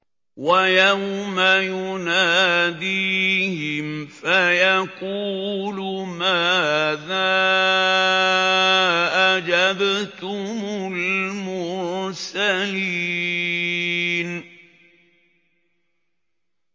وَيَوْمَ يُنَادِيهِمْ فَيَقُولُ مَاذَا أَجَبْتُمُ الْمُرْسَلِينَ